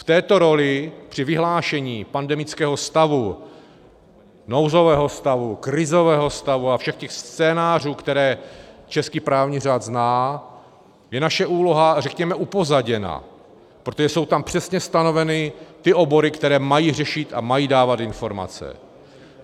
V této roli při vyhlášení pandemického stavu, nouzového stavu, krizového stavu a všech těch scénářů, které český právní řád zná, je naše úloha, řekněme, upozaděna, protože jsou tam přesně stanoveny ty obory, které mají řešit a mají dávat informace.